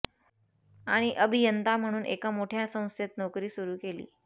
आणि अभियंता म्हणुन एका मोठ्या संस्थेत नोकरी सुरु केली